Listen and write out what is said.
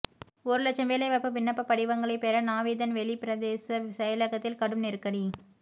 ஒரு இலட்சம் வேலைவாய்ப்பு விண்ணப்படிவங்களை பெற நாவிதன் வெளி பிரதேச செயலகத்தில் கடும் நெருக்கடி